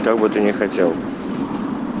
как бы ты не хотел